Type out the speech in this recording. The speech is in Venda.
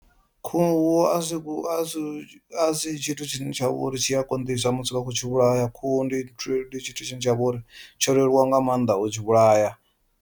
Khuhu a si a si asi tshithu tshine tshi a konḓisa musi vha khou tshi vhulaya, khuhu ndi tshithu tshine tsha vha uri tsho leluwa nga maanḓa u tshi vhulaya.